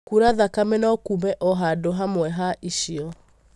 Kura thakame no kume o handũ hamwe ha icio.